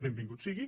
benvingut sigui